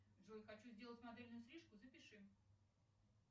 джой хочу сделать модельную стрижку запиши